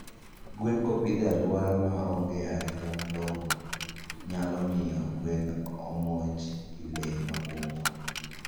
Gwen kopidh e aluora ma onge arita malongo nyalomiyo gwen omonj gi lee mabungu